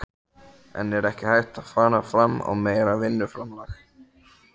En er ekki hægt að fara fram á meira vinnuframlag?